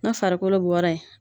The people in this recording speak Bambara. Ni farikolo bɔra yen